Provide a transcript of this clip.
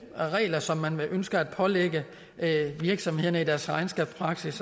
her regler som man ønsker at pålægge virksomhederne i deres regnskabspraksis